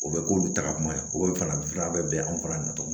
O bɛ k'olu ta ka kuma ye o bɛ farafin fura bɛ bɛn an fana na cogo min